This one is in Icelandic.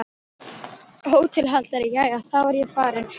HÓTELHALDARI: Jæja, þá er ég farinn.